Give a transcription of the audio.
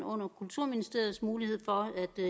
under kulturministeriets mulighed for